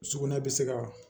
Sugunɛ bɛ se ka